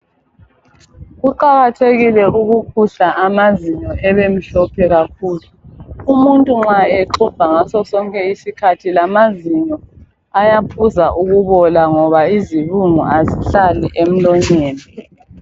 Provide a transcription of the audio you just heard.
Kuqakathekile ukuxubha amazinyo abemhlophe kakhulu. Umuntu nxa exubha ngasosonke isikhathi lamazinyo ayaphuza ukubola ngoba izibungu azihlali emlonyeni.